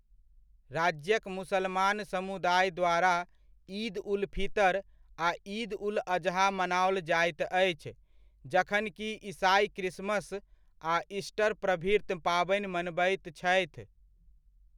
राज्यक मुसलमान समुदाय द्वारा ईद उल फितर आ ईद उल अजहा मनाओल जाइत अछि, जखन कि ईसाइ क्रिसमस आ ईस्टर प्रभृत पाबनि मनबैत छथि।